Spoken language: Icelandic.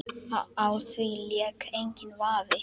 Á því lék enginn vafi.